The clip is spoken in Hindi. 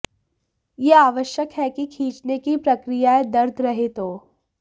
यह आवश्यक है कि खींचने की प्रक्रिया दर्द रहित हो